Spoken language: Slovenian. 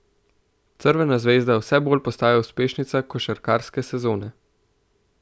Crvena zvezda vse bolj postaja uspešnica košarkarske sezone.